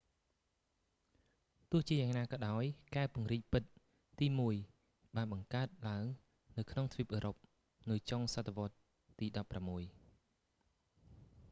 ទោះជាយ៉ាងណាក៏ដោយ កែវពង្រីកពិតទីមួយបានបង្កើតឡើងនៅក្នុងទ្វីបអឺរ៉ុបនៅចុងសតវត្សទី16